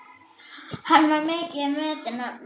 Hann var mikils metinn maður.